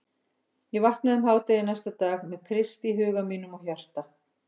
Ég vaknaði um hádegi næsta dag með Krist í huga mínum og hjarta.